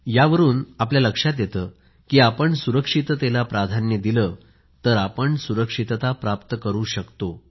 यावरून लक्षात येते की आपण सुरक्षिततेला प्राधान्य दिलं तर आपण सुरक्षितता प्राप्त करू शकतो